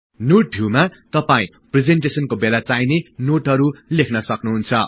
node भिउमा तपाई प्रिजेन्टेसनको बेला चाहिले नोटहरु लेख्न सक्नुहुन्छ